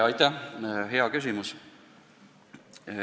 Aitäh, hea küsimus!